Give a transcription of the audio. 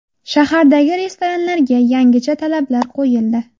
Shahardagi restoranlarga yangicha talablar qo‘yildi.